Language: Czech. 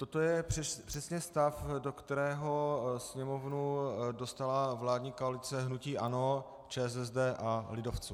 Toto je přesně stav, do kterého Sněmovnu dostala vládní koalice hnutí ANO, ČSSD a lidovců.